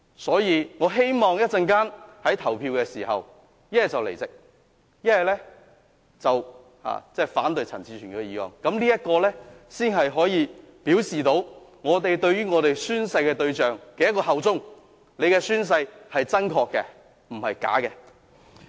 所以，我希望稍後投票時，大家要不離席，要不反對陳志全議員的議案，這樣才能表示大家效忠宣誓的對象。大家的宣誓是真確，而不是虛假的。